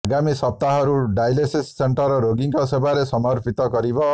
ଆଗାମୀ ସପ୍ତାହରୁ dialysis centre ରୋଗୀଙ୍କ ସେବାରେ ସମର୍ପିତ କରିବ